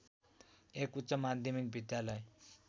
एक उच्च माध्यमिक विद्यालय